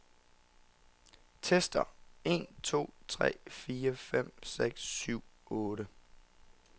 Tester en to tre fire fem seks syv otte.